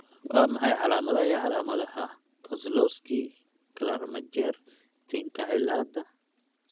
Waa maxay calaamadaha iyo calaamadaha Kozlowski Celermajer Tinka cilaada?